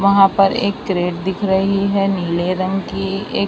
वहां पर एक करेट दिख रही है नीले रंग की ए--